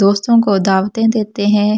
दोस्तों को दावतें देते हैं।